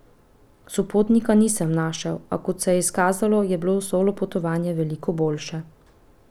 Sopotnika nisem našel, a, kot se je izkazalo, je bilo solo potovanje veliko boljše.